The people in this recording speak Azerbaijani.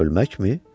Ölməkmi?